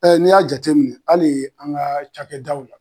Ɛ n'i y'a jateminɛ ali an ga cakɛ daw la